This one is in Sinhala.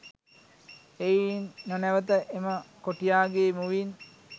එයින් නොනැවත එම කොටියාගේ මුවින්